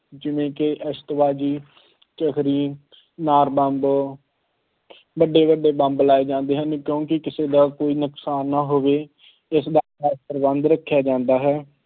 ਜਿਵੇਂ ਕਿ ਆਤਿਸ਼ਬਾਜ਼ੀ ਚਰੱਖੜੀ, ਅਨਾਰ ਬੰਬ ਵੱਡੇ ਵੱਡੇ ਬੰਬ ਲਗਾਏ ਜਾਂਦੇ ਹਨ ਕਿਉਂਕਿ ਕਿਸੇ ਦਾ ਕੋਈ ਨੁਕਸਾਨ ਨਾ ਹੋਵੇ, ਇਸਦਾ ਪ੍ਰਬੰਧ ਰੱਖਿਆ ਜਾਂਦਾ ਹੈ।